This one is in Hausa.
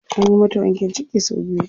Anyi mata wankin ciki sau biyu.